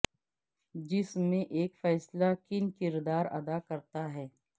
جس میں ایک فیصلہ کن کردار ادا کرتا ہے